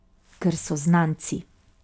Ker so znanci.